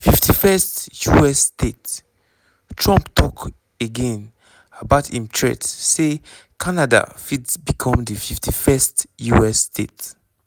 51st us state:trump tok again about im threat say canada fit become di 51st us state.